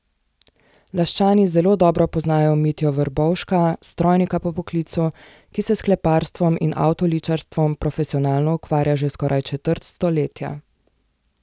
Laščani zelo dobro poznajo Mitjo Vrbovška, strojnika po poklicu, ki se s kleparstvom in avtoličarstvom profesionalno ukvarja že skoraj četrt stoletja.